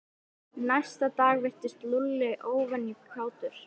Næsta dag virtist Lúlli óvenju kátur.